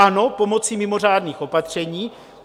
Ano, pomocí mimořádných opatření.